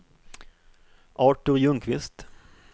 Artur Ljungqvist